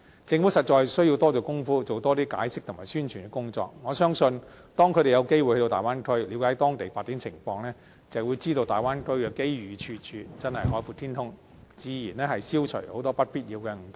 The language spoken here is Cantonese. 政府實在需要多下工夫，多作出解釋和進行宣傳的工作，我相信當他們有機會到大灣區，了解當地發展情況，便會知道大灣區的機遇處處，真是海闊天空，自然消除很多不必要的誤解。